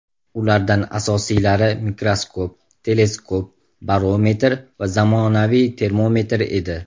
Ulardan asosiylari mikroskop, teleskop, barometr va zamonaviy termometr edi.